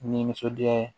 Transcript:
Ni nisɔndiya ye